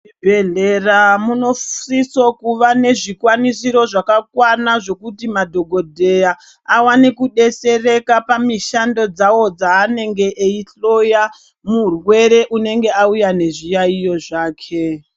Muzvibhedhlera munosiso kuva nezvikwanisiro zvakakwana, zvekuti madhokodheya awane kudetsereka pamishando dzawo dzaanenge eyihloya murwere unenge auya nezviyaiyo zvake.